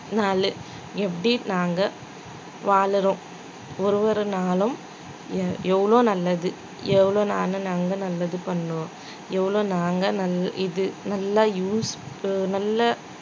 நாளு எப்படி நாங்க வாழுறோம் ஒரு ஒரு நாளும் எ~ எவ்வளோ நல்லது எவ்வளவு நானு நாங்க நல்லது பண்ணோம் எவ்ளோ நாங்க நல்~ இது நல்லா use ப~ நல்லா